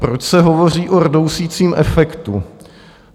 Proč se hovoří o rdousícím efektu?